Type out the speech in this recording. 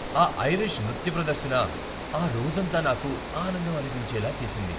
ఆ ఐరిష్ నృత్య ప్రదర్శన ఆ రోజంతా నాకు ఆనందం అనిపించేలా చేసింది.